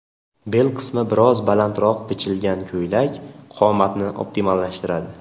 Bel qismi biroz balandroq bichilgan ko‘ylak qomatni optimallashtiradi.